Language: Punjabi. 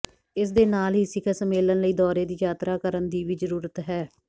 ਇਸ ਦੇ ਨਾਲ ਹੀ ਸਿਖਰ ਸੰਮੇਲਨ ਲਈ ਦੌਰੇ ਦੀ ਯਾਤਰਾ ਕਰਨ ਦੀ ਵੀ ਜ਼ਰੂਰਤ ਹੈ